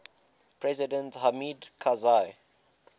president hamid karzai